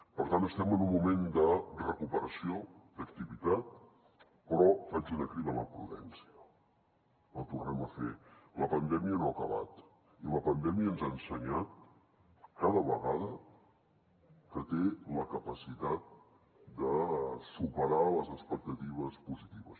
per tant estem en un moment de recuperació d’activitat però faig una crida a la prudència la tornem a fer la pandèmia no ha acabat i la pandèmia ens ha ensenyat cada vegada que té la capacitat de superar les expectatives positives